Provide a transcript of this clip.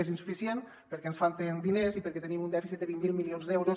és insuficient perquè ens falten diners i perquè tenim un dèficit de vint miler milions d’euros